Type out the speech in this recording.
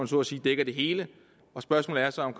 så at sige dækker det hele og spørgsmålet er så om